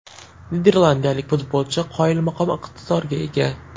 Niderlandiyalik futbolchi qoyilmaqom iqtidorga ega.